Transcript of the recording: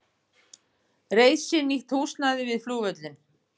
Kolbeinn botnaði þá sjálfur vísuna: